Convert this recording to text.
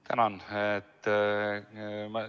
Tänan!